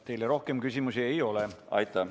Teile rohkem küsimusi ei ole.